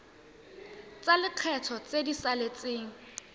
tsa lekgetho tse di saletseng